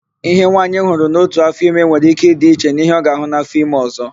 Íhe nwaanyị hụrụ n'ótù áfọime nwere íké ịdị iche n'íhé ọ ga-àhụ́ n'áfọime ọ̀zọ́.